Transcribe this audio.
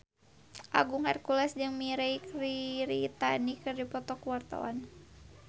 Agung Hercules jeung Mirei Kiritani keur dipoto ku wartawan